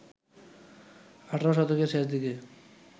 ১৮ শতকের শেষদিকে